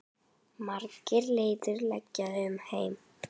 Margar leiðir liggja um heim.